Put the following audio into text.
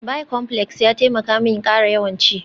Bicomplex ya taimaka min ƙara yawan ci